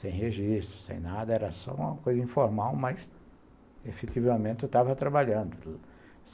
Sem registro, sem nada, era só uma coisa informal, mas, efetivamente, eu estava trabalhando.